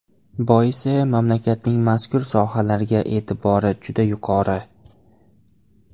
Boisi mamlakatning mazkur sohalarga e’tibori juda yuqori.